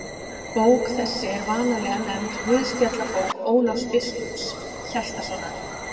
Bók þessi er vanalega nefnd Guðspjallabók Ólafs biskups Hjaltasonar.